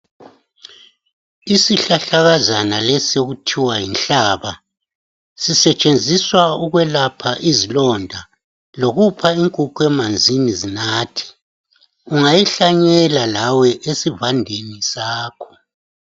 Isihlahlakazana lesi okuthiwa yinhlaba sisetshenziswa ukwelapha izilonda lokuphakathi inkukhu emanzini zinathe ungayihlanyela lawe esivandeni sakho.